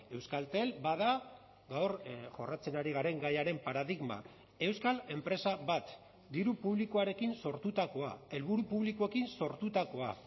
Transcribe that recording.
euskaltel bada gaur jorratzen ari garen gaiaren paradigma euskal enpresa bat diru publikoarekin sortutakoa helburu publikoekin sortutakoa